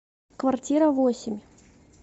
квартира восемь